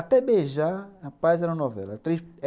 Até beijar, rapaz, era uma novela.